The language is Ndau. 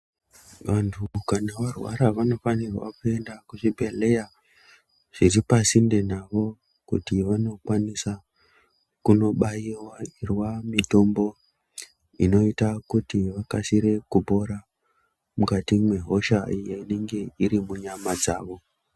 Vantu kana varwara vanofanire kuenda kuchibhedhleya chiri pasinde navo kuti vandokwanisa kubaiwa mitombo inoita kuti vakasire kupora mukati mwehosha inenge iri munyama dzawo.